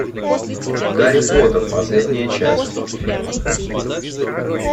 гарри поттер последняя часть фильм